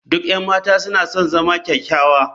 Duk 'yan mata suna son zama kyakkyawa.